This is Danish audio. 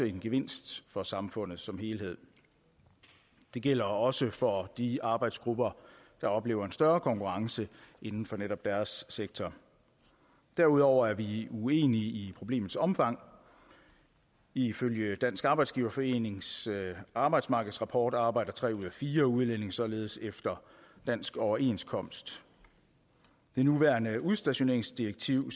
en gevinst for samfundet som helhed det gælder også for de arbejdsgrupper der oplever en større konkurrence inden for netop deres sektor derudover er vi uenige i problemets omfang ifølge dansk arbejdsgiverforenings arbejdsmarkedsrapport arbejder tre ud af fire udlændinge således efter dansk overenskomst det nuværende udstationeringsdirektiv